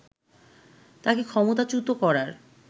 তাকে ক্ষমতাচ্যুত করার